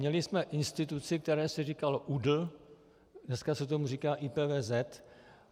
Měli jsme instituci, které se říkalo ÚDL, dneska se tomu říká IPVZ.